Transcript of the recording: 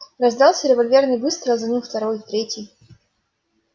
раздался револьверный выстрел за ним второй третий